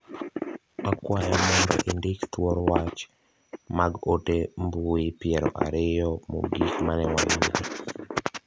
Akwyo mondo indiki thuor wach mag ote mbui piero ariyo mogik mane wayudo.